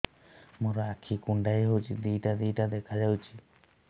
ମୋର ଆଖି କୁଣ୍ଡାଇ ହଉଛି ଦିଇଟା ଦିଇଟା ଦେଖା ଯାଉଛି